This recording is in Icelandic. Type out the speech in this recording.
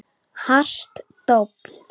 Hart dobl.